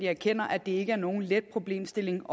erkender at det ikke er nogen let problemstilling